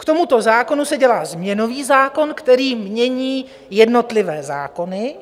K tomuto zákonu se dělá změnový zákon, který změní jednotlivé zákony,